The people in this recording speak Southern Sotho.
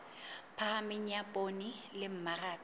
phahameng ya poone le mmaraka